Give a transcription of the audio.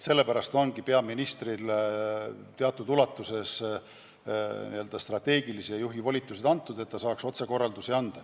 Sellepärast ongi peaministrile teatud ulatuses antud strateegilise juhi volitused, et ta saaks otsekorraldusi anda.